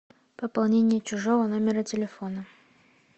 пополнение чужого номера телефона